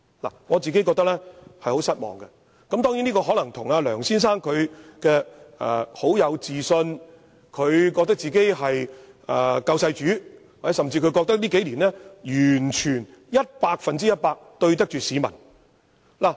我個人對此感到非常失望，這可能是因為梁先生個人充滿自信，認為自己是救世主，甚至認為自己在這數年間完全、百分百對得起香港市民。